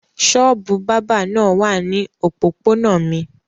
Ṣọ́ọ́bù bábà náà wà ní òpópónà mi.